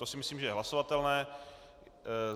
To si myslím, že je hlasovatelné.